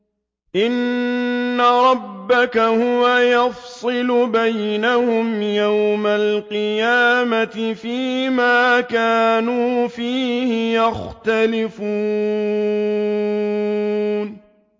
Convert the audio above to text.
إِنَّ رَبَّكَ هُوَ يَفْصِلُ بَيْنَهُمْ يَوْمَ الْقِيَامَةِ فِيمَا كَانُوا فِيهِ يَخْتَلِفُونَ